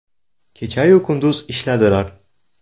Kecha-yu kunduz ishladilar.